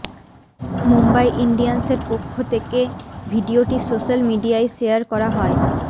মুম্বাই ইন্ডিয়ান্সের পক্ষ তেকে ভিডিওটি সোশ্যাল মিডিয়ায় শেয়ার করা হয়